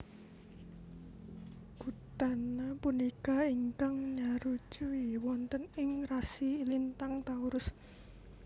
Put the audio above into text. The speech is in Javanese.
Gud An na punika ingkang nyarujui wonten ing rasi lintang Taurus